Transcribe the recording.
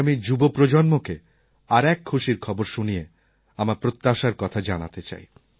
আজ আমি যুব প্রজন্মকে আর এক খুশির খবর শুনিয়ে আমার প্রত্যাশার কথা জানাতে চাই